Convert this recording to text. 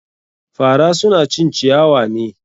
Fara suna cin ciyawa ne.